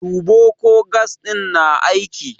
Duba ko gas ɗin na aiki!